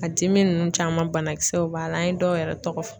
A dimi nunnu caman banakisɛw b'a la an ye dɔw yɛrɛ tɔgɔ fɔ.